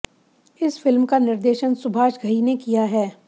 इस फ़िल्म का निर्देशन सुभाष घई ने किया है